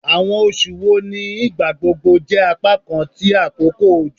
Awọn oṣu wo ni igbagbogbo jẹ apakan ti akoko ojo?